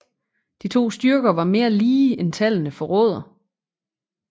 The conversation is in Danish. De to styrker var mere lige end tallene forråder